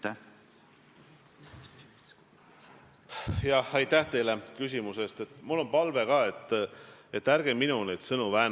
Tõsi küll, viimasel ajal on seda vist piinlik rõhutada, nii et olen seda sinu suust kuulnud vähem.